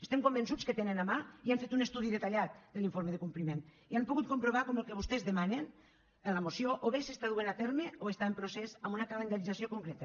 estem convençuts que tenen a mà i han fet un estudi detallat de l’informe de compliment i han pogut comprovar com el que vostès demanen en la moció o bé s’està duent a terme o està en procés en una calendarització concreta